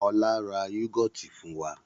Ọlá ra yúgọ́ọ́tì fún wa.